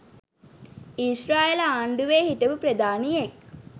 ඊශ්‍රායල ආණ්ඩුවේ හිටපු ප්‍රධානියෙක්